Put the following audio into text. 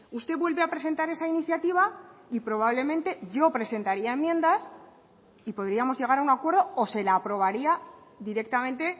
usted vuelve a presentar esa iniciativa y probablemente yo presentaría enmiendas y podríamos llegar a un acuerdo o se la aprobaría directamente